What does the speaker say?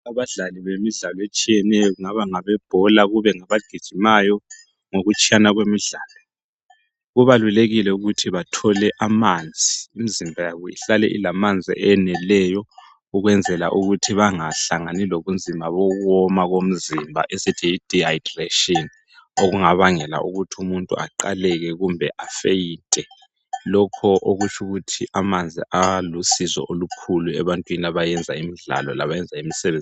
Abadlali bemidlalo etshiyeneyo, kungaba ngabebhola kube ngabagijimayo ngokutshiyana kwemidlalo, kubalulekile ukuthi bathole amanzi imizimba yabo ihlale ilamanzi eneleyo ukwenzela ukuthi bangahlangani lobunzima bokuwoma bomzimba esithi yidehydration okungabangela ukuthi umuntu aqaleke kumbe afeyinte lokho okutsho ukuthi amanzi alusizo olukhulu ebantwini abayenza imidlalo labayenza imisebenzi.